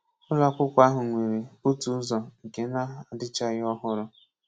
Ụlọ akwụkwọ ahu nwere otu ụzọ nke na-adịchaghị ọhụrụ.